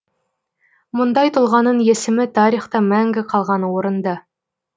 мұндай тұлғаның есімі тарихта мәңгі қалғаны орынды